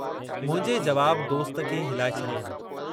मुंहिंजे जवाब दोस्त खे हिलाए छॾियो।